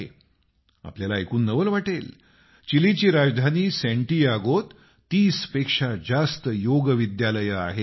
तुम्हाला नवल वाटेल चिलीची राजधानी सॅन्टीयागोत तीस पेक्षा जास्त योग विद्यालयं आहेत